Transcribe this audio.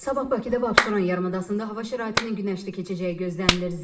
Sabah Bakıda və Abşeron yarımadasında hava şəraitinin günəşli keçəcəyi gözlənilir.